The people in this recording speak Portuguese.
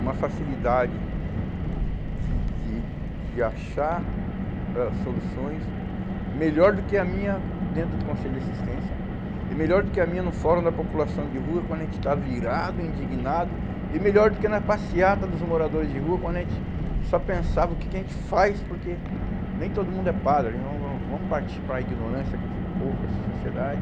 uma facilidade de de de achar ãh soluções, melhor do que a minha dentro do Conselho de Assistência, e melhor do que a minha no Fórum da População de Rua, quando a gente está virado, indignado, e melhor do que na passeata dos moradores de rua, quando a gente só pensava o que que a gente faz, porque nem todo mundo é padre, vamos partir para a ignorância com esse povo, com essa sociedade.